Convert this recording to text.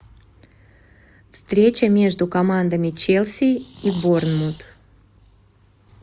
встреча между командами челси и борнмут